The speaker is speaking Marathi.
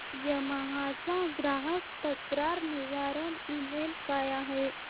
यामाहा चा ग्राहक तक्रार निवारण ईमेल काय आहे